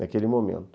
Naquele momento.